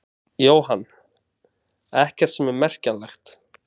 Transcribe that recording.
Jóhann: Ekkert sem er merkjanlegt?